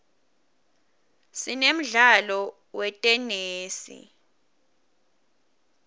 sinemdlalo wetenesi